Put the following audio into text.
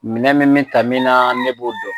Minɛ min min taa min na ne b'o dɔn